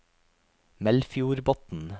Melfjordbotn